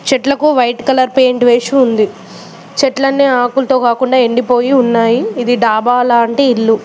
చెట్లకు white colour paint వేసి వుంది చెట్లన్నీ ఆకులతో కాకుండా ఎండి పోయి ఉన్నాయి ఇది డాబా లాంటి ఇల్లు.